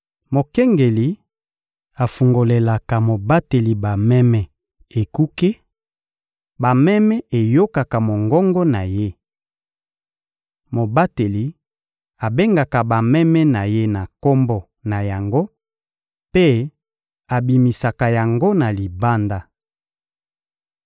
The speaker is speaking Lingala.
Mokengeli afungolelaka mobateli bameme ekuke, bameme eyokaka mongongo na ye. Mobateli abengaka bameme na ye na kombo na yango mpe abimisaka yango na libanda.